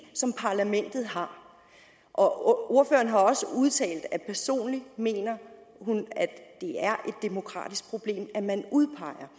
som parlamentet har og ordføreren har også udtalt at hun personligt mener at det er et demokratisk problem at man udpeger